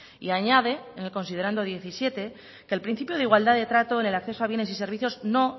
y añade en el considerando diecisiete que el principio de igualdad de trato en el acceso a bienes y servicios no